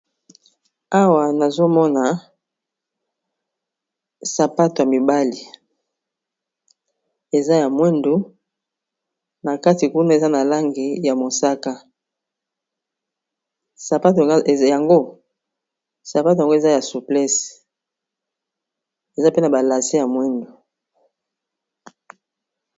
Awa nazomona sapato yamibali eza ya mwindo nakati kuna nalangi ya mosaka sapato yango ezayaba souples ezape nabalase ya mwindo